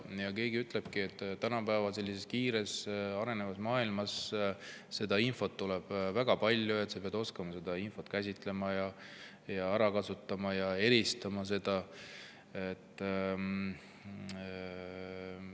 Keegi ütleb, et tänapäeva kiiresti arenevas maailmas tuleb infot väga palju, sa pead oskama seda käsitleda, ära kasutada ja eristada.